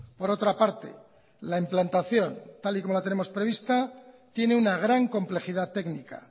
por otra parte la implantación tal y como la tenemos prevista tiene una gran complejidad técnica